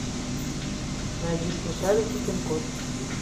найди смешарики пин код